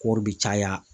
Kɔri bɛ caya